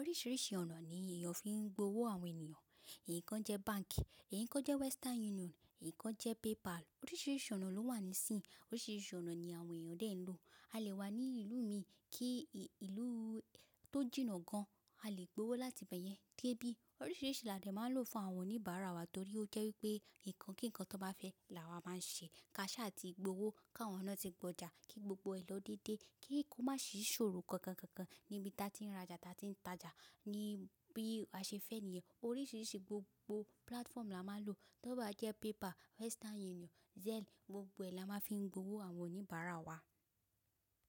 Oríṣiríṣi ọ̀nà ni èèyàn fi ń gbowó àwọn ènìyàn, èyí kan jẹ́ Báǹk, èyí kan jẹ́ Western Union, èyí kan jẹ́ Paypal. Oríṣiríṣi ọ̀nà ló wà ní sìn yí, oríṣiríṣi ọ̀nà ni àwọn èèyàn dẹ́ ń lò. A lè wà ní ìlú mi kí ìlú tó jìnnà gan, a lè gbowó láti ibẹ̀ yẹn dé ibí. Oríṣiríṣi là dẹ máa ń lò fún àwọn oníbàárà wa torí ó jẹ́ wípé ǹkan kí ǹkan ti won bá fẹ́ là wá máa ń ṣe. Kaṣáti gbowó káwọn nà tí gbọ́ja kí gbogbo ẹ̀ lọ dédé, kí kò má ṣi iṣòro kankan kankan níbi tí a ti ń rajà tí a ti ń tajà ní bí a ṣe fẹ́ nìyẹn. Oríṣiríṣi gbogbo platform là máa ń lò; tó bá jẹ́ Paypal, Western Union, Zelle gbogbo ẹ̀ là máa fi ń gbowó àwọn oníbàárà wa.